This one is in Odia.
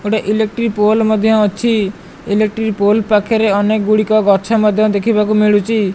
ଗୋଟେ ଇଲେକ୍ଟ୍ରିକ ପୋଲ ମଧ୍ୟ ଅଛି ଇଲେକ୍ଟ୍ରିକ ପୋଲ ପାଖରେ ଅନେକ ଗଛ ମଧ୍ୟ ଦେଖି ବାକୁ ମିଳୁଛି।